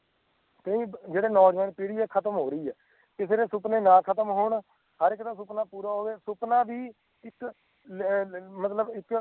ਉਹ ਜਿਹੜੀ ਨੌਜਵਾਨ ਪੀਹੜੀ ਆ ਉਹ ਖਤਮ ਹੋ ਰਹੀ ਆ ਕਿਸੇ ਦੇ ਸੁਪਨੇ ਨਾ ਖਤਮ ਹੋਣ ਹਰ ਇੱਕ ਦਾ ਸੁਪਨਾ ਪੂਰਾ ਹੋਵੇ ਸੁਪਨਾ ਵੀ ਇੱਕ ਮਤਲਬ ਇੱਕ